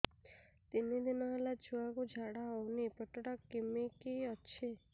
ତିନି ଦିନ ହେଲା ଛୁଆକୁ ଝାଡ଼ା ହଉନି ପେଟ ଟା କିମି କି ଅଛି